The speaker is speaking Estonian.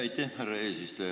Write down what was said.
Aitäh, härra eesistuja!